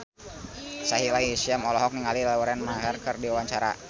Sahila Hisyam olohok ningali Lauren Maher keur diwawancara